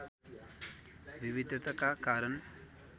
विविधताका कारण